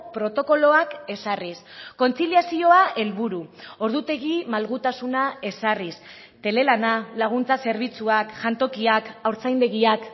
protokoloak ezarriz kontziliazioa helburu ordutegi malgutasuna ezarriz telelana laguntza zerbitzuak jantokiak haurtzaindegiak